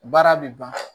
Baara bɛ ban